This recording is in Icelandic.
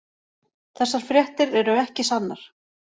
Þessar fréttir eru ekki sannar.